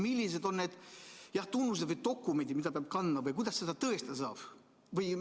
Millised on need tunnuseid või dokumendid, mida ta peab kandma või kuidas seda tõestada saab?